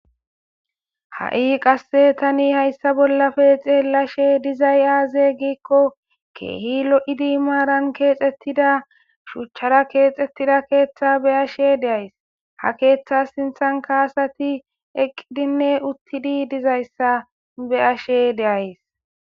Ha7i qasse tani hayssa bollape xeelashe dizay aaze giikko keehi lo'idi maaran keexettida shuuchchara keexxettida keeththa beyashe de'as. ha keeththa sinththan kaasati eqqidinne uttidi dizayssa beyashe de'as.